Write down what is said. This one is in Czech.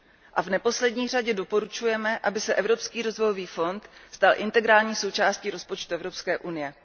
A v neposlední řadě doporučujeme, aby se Evropský rozvojový fond stal integrální součástí rozpočtu Evropské unie.